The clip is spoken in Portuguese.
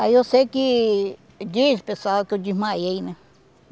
Aí eu sei que... Diz o pessoal que eu desmaiei, né?